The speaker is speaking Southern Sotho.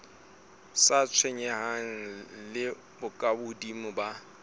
sa tshwenyaneng le bokahodimo ba